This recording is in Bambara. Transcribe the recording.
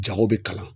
Jago bɛ kalan